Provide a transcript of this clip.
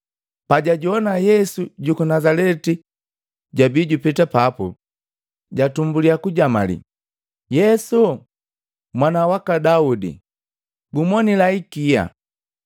Pajajowana Yesu juku Nazaleti jabii jupeta papu, jatumbulya kujamalii, “Yesu, mwana waka Daudi, gumonila ikia!”